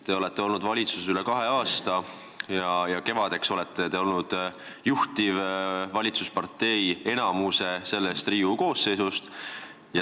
Te olete olnud valitsuses üle kahe aasta ja kevadeks olete olnud juhtiv valitsuspartei enamiku sellest Riigikogu koosseisu ajast.